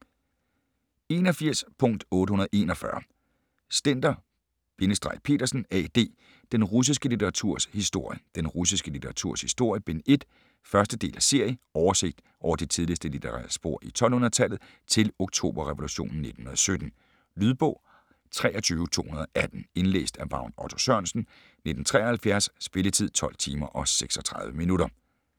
81.841 Stender-Petersen, Ad.: Den russiske litteraturs historie: Den russiske litteraturs historie - Bind 1 1. del af serie. Oversigt over de tidligste litterære spor i 1200-tallet til oktoberrevolutionen 1917. Lydbog 23218 Indlæst af Vagn Otto Sørensen, 1973 Spilletid: 12 timer, 36 minutter.